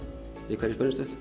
í hverri